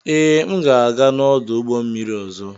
Ee, m ga-aga n'ọdụ ụgbọ mmiri ọzọ.